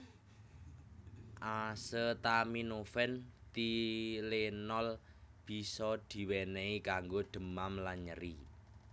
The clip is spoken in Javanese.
Asetaminofen Tylenol bisa di wenehi kanggo demam lan nyeri